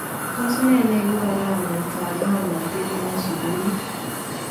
Tos nee neekuu karaanetab ng'omnotet en sukuulit ?